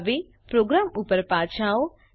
હવે પ્રોગ્રામ ઉપર પાછા આવો